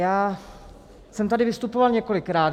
Já jsem tady vystupoval několikrát.